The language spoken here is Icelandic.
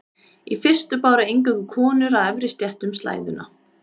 Í fyrstu báru eingöngu konur af efri stéttum slæðuna.